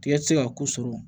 Tigɛ ti se ka ko sɔrɔ